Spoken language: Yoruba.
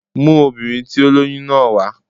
Mú obìnrin tí ó lóyún náà wà